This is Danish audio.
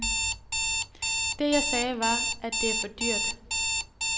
Det, jeg sagde, var, at det er for dyrt.